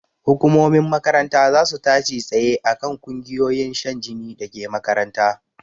Hukumomin makaranta zasu tashi tsaye akan ƙungiyoyin shan jini dake makaranta